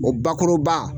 O bakuruba